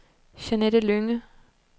Jeanette Lynge